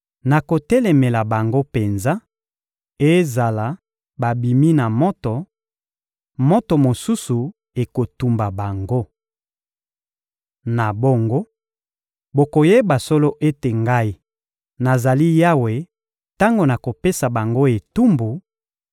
Nakotelemela bango penza; ezala babimi na moto, moto mosusu ekotumba bango. Na bongo, bokoyeba solo ete Ngai, nazali Yawe tango nakopesa bango etumbu: